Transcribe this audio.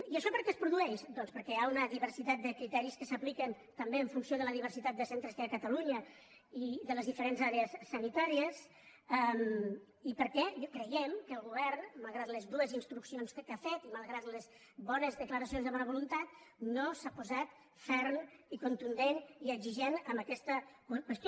i això per què es produeix doncs perquè hi ha una diversitat de criteris que s’apliquen també en funció de la diversitat de centres que hi ha a catalunya i de les diferents àrees sanitàries i perquè creiem que el govern malgrat les dues instruccions que ha fet i malgrat les bones declaracions de bona voluntat no s’ha posat ferm i contundent i exigent amb aquesta qüestió